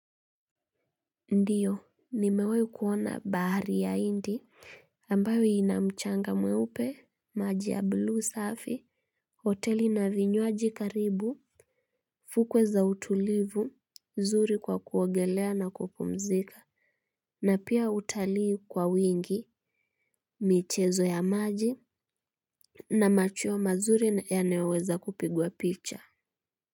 Ndiyo nmewai kuona bahari ya indi ambayo inamchanga mweupe maji ya buluu safi hoteli na vinywaji karibu fukwe za utulivu zuri kwa kuogelea na kupumzika na pia utalii kwa wingi michezo ya maji, na machuwa mazuri yanayoweza kupigwa picha.